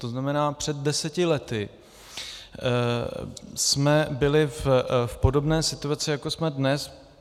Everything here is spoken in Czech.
To znamená, před deseti lety jsme byli v podobné situaci, jako jsme dnes.